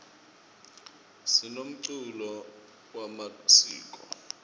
sinemculo wemasiko